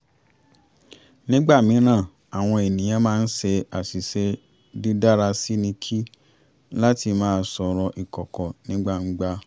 nígbà mìíràn àwọn ènìyàn máa ń ṣe àṣìṣe dídára síni kí láti máa sọ̀rọ̀ ìkọ̀kọ̀ ní gbangba